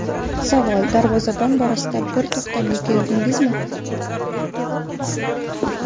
Savol: Darvozabon borasida bir to‘xtamga keldingizmi?